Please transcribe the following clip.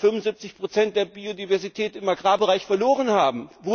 75 der Biodiversität im Agrarbereich verloren haben.